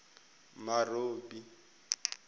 marobi